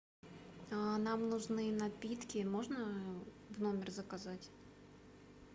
нам нужны напитки можно в номер заказать